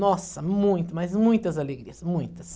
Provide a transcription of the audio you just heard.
Nossa, muito, mas muitas alegrias, muitas.